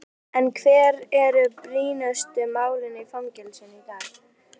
En hver eru brýnustu málin í fangelsum í dag?